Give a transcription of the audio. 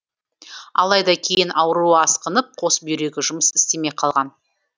алайда кейін ауруы асқынып қос бүйрегі жұмыс істемей қалған